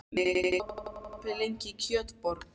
Mummi, hvað er opið lengi í Kjötborg?